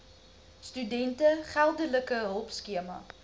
studente geldelike hulpskema